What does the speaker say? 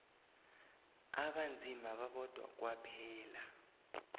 abanzima babodwa kwaphela